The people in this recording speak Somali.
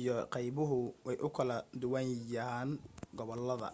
iyo qaybuhu way u kala duwanayaan gobolada